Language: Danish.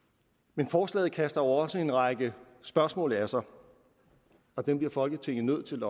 men forslaget kaster jo også en række spørgsmål af sig og dem bliver folketinget nødt til